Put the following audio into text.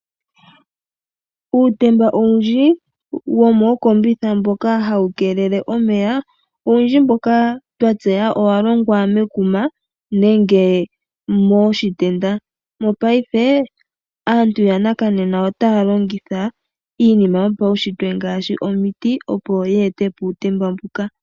Uutemba owundji womookombitha mboka hawu keelele omeya, owundji mboka twa tseya owa longwa mekuma nenge moshitenda. Mopaife aantu yanakanena otaya longitha iinima yopaunshitwe ngaashi omiti opo ye ete po uutemba mbuka.